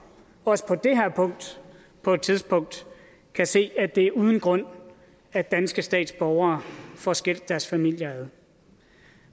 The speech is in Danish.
også på det her punkt på et tidspunkt kan se at det er uden grund at danske statsborgere får skilt deres familier ad